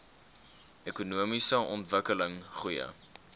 ekonomiese ontwikkeling goeie